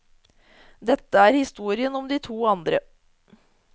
Dette er historien om de to andre.